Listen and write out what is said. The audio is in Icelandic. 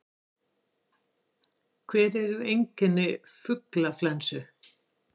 Hver eru einkenni fuglaflensu?